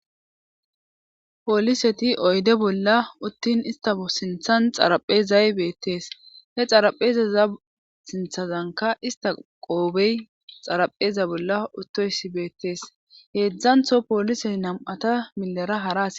pooliseti oyde bolla uttin istao sinthan xaraphezay beettees he xaraphezaza sinthazanka ista qoobey xarapheza bolla uttoysi beettees heedzdzantho pooliseti nam7ata milara haras